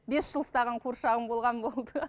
бес жыл ұстаған қуыршағым болған болды